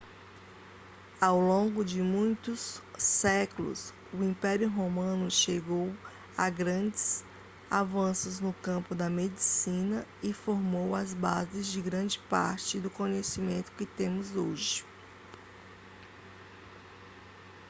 ao longo de muitos séculos o império romano chegou a grandes avanços no campo da medicina e formou as bases de grande parte do conhecimento que temos hoje